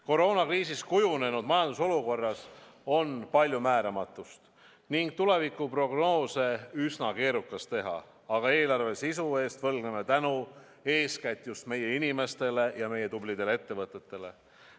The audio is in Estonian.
Koroonakriisis kujunenud majandusolukorras on palju määramatust ning tulevikuprognoose on üsna keerukas teha, aga eelarve sisu eest võlgneme tänu eeskätt just meie inimestele ja meie tublidele ettevõtetele.